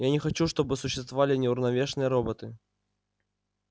я не хочу чтобы существовали неуравновешенные роботы